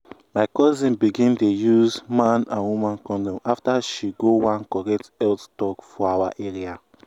my cousin begin dey use man and woman condom afta she go one correct health talk for awa area